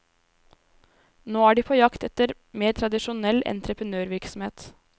Nå er de på jakt etter mer tradisjonell entreprenørvirksomhet.